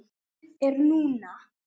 Lífið er núna